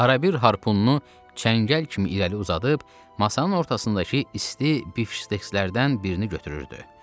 Arabir harpununu çəngəl kimi irəli uzadıb masanın ortasındakı isti bifştekslərdən birini götürürdü.